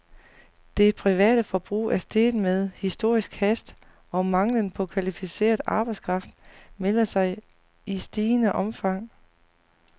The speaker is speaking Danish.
Det private forbrug er steget med historisk hast, og manglen på kvalificeret arbejdskraft melder sig i stigende omfang.